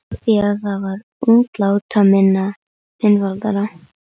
Af því að það var útlátaminna, einfaldara.